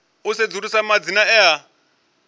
u sedzulusa madzina e a